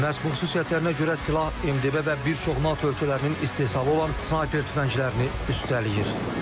Məhz bu xüsusiyyətlərinə görə silah MDB və bir çox NATO ölkələrinin istehsal olan snayper tüfənglərini üstələyir.